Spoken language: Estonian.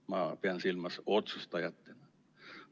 Ma pean silmas meid otsustajatena.